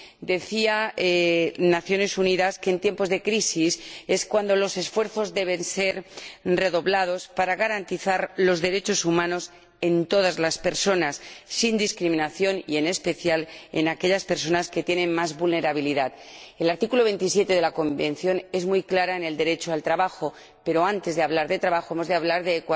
Decían las Naciones Unidas que en tiempos de crisis es cuando los esfuerzos deben ser redoblados para garantizar los derechos humanos de todas las personas sin discriminación y, en especial, de aquellas personas más vulnerables. El artículo 27 de la Convención es muy claro en cuanto al derecho al trabajo, pero antes de hablar de trabajo hemos de hablar de